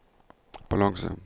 balanse